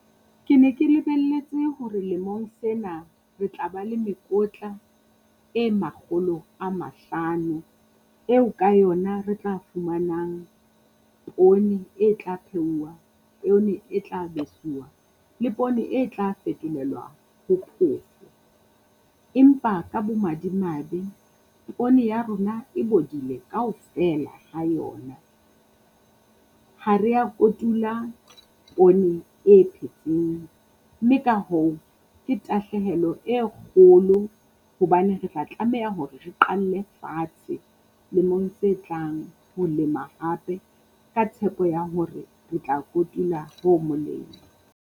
Ke ne ke lebelletse hore lemong sena re tla ba le mekotla e makgolo a mahlano, eo ka yona re tla fumanang poone e tla phehuwa e tla e tla besuwa, le poone e tla fetolelwa ho phofo. Empa ka bo madimabe pooneya rona e bodile kaofela ha yona. Ha rea kotula poone e phetseng, mme ka hoo ke tahlehelo e kgolo hobane re tla tlameha hore re qalle fatshe lemong se tlang. Ho lema hape ka tshepo ya hore re tla kotul, ho molemo.